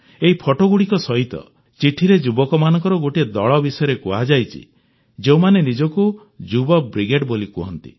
ଏହି ଫଟୋଗୁଡ଼ିକ ସହିତ ଚିଠିରେ ଯୁବକମାନଙ୍କର ଗୋଟିଏ ଦଳ ବିଷୟରେ କୁହାଯାଇଛି ଯେଉଁମାନେ ନିଜକୁ ଯୁବ ବ୍ରିଗେଡ୍ ବୋଲି କୁହନ୍ତି